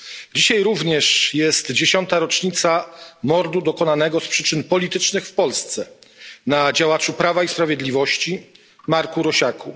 Dzisiaj również jest dziesiąta rocznica mordu dokonanego z przyczyn politycznych w Polsce na działaczu Prawa i Sprawiedliwości Marku Rosiaku.